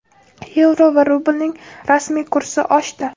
yevro va rublning rasmiy kursi oshdi.